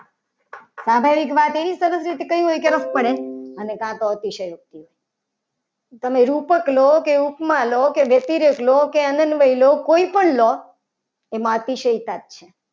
પાછળ એક વાત એવી રીતે સરસ રીતે કહ્યું. હોય કે કરવી પડે કાં તો અતિશયોક્ત તમે રૂપક લો. કે ઉપમા લો કે અતિરેક લો કે અનંતભાઈ લો. કોઈ પણ લોક એમાં અતિ સહિતા જ છે